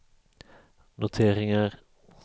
noteringar